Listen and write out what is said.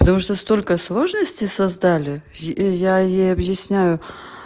потому что столько сложностей создали и я ей объясняю